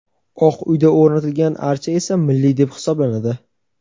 Oq uyda o‘rnatilgan archa esa "milliy" deb hisoblanadi.